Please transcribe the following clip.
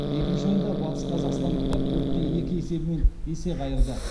екінші ойында батысқазақстандықтар төрт те екі есебімен есе қайырды